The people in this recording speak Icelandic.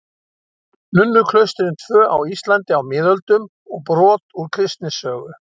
Nunnuklaustrin tvö á Íslandi á miðöldum og brot úr kristnisögu.